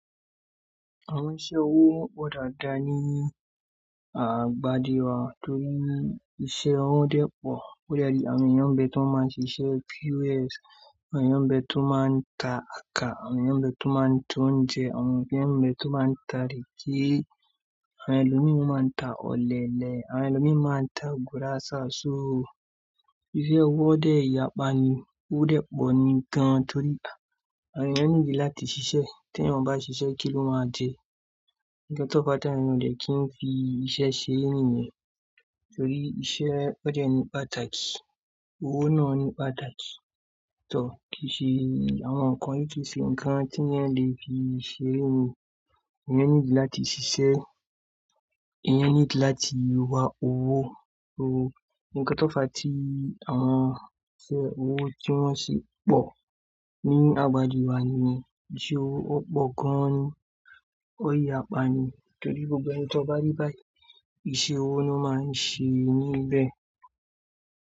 Àwọn iṣẹ́ owó pọ̀ dáadáa ní àgbàdi wa torí iṣẹ́ owó dẹ́ pọ̀. Ó de ni àwọn èeyàn ń bẹ tó máa ń ṣe iṣẹ́ POS, àwọn èeyàn bẹ tó máa ń ta àtá, àwọn èeyàn bẹ tó máa ń ta oúnjẹ, àwọn eeyàn bẹ tó máa ń ta ìrẹ́ké, àwọn ẹlòmíi máa ń ta ọ̀lẹ̀lẹ̀, àwọn ẹlòmíi máa ń ta gùrásà. So iṣẹ́ owó dẹ yàpá ni, ó dẹ́ pọ̀ ni gan an torí àwọn èeyàn ní ìdí láti ṣiṣẹ́. Tí èeyàn ò bá ṣiṣẹ́ kí ló máa jẹ? Ǹkan tó fàá tí mí dé kí n fi iṣẹ́ ṣeré nìyen torí iṣẹ́ ó jẹ́ ní pátàki. Owó náà ní pátàki. Ǹtó ki ṣe àwọn nǹkan yí tì ṣe ǹkan tí ìyàn le fi ṣeré ó. Èèyàn níìdí láti ṣiṣẹ́, èèyàn níìdí láti wá owó. So ǹkan tó fà á tí àwọn iṣẹ́ owó tí wọ́n sì pọ̀ ní àgbà ji wa nìyẹn. Iṣẹ́ owó ó pọ̀ gan ni, ó yàpá ni torí gbogbo ẹni tó bá rí báyìí iṣẹ́ owó ló máa ń ṣe níbẹ̀.